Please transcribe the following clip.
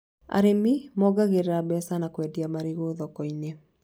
Arĩmi mongagĩrĩra mbeca na kwendia marigũ thoko-inĩ